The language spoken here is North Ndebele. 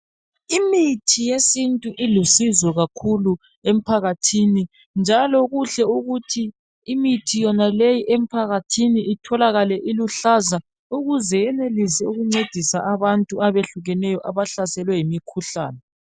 Imithi yesintu ilusizo kakhulu emphakathini njalo kuhle ukuthi imithi yonaleyi emphakathini itholakale iluhlaza ukuze yenelise ukuncedise abantu abahlukeneyo abahlaselwe yimikhuhlane.